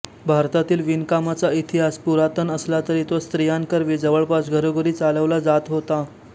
भारतातील विणकामाचा इतिहास पुरातन असला तरी तो स्त्रियांकरवी जवळपास घरोघरी चालवला जात होता